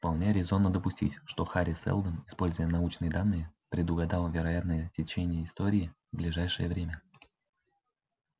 вполне резонно допустить что хари сэлдон используя научные данные предугадал вероятное течение истории в ближайшее время